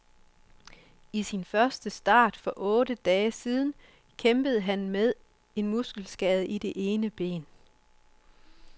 I sin første start for otte dage siden kæmpede han med en muskelskade i det ene ben.